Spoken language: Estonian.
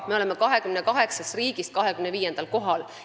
Me oleme 28 riigi hulgas 25. kohal.